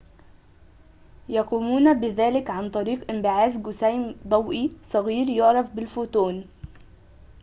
يقومون بذلك عن طريق انبعاث جسيم ضوئي صغير يعرف ب الفوتون